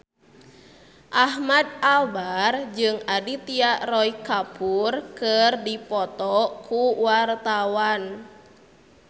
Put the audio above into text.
Ahmad Albar jeung Aditya Roy Kapoor keur dipoto ku wartawan